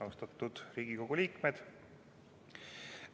Austatud Riigikogu liikmed!